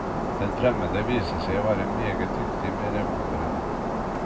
Den fremmede viser seg å være meget dyktig med revolveren.